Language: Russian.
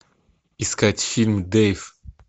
искать фильм дейв